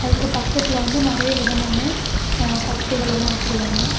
அதுக்கு பக்கத்துல வந்து நிறைய விதமான கத்திகள் எல்லா வச்சிருக்காங்க.